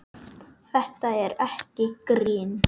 Þetta er ekki grín!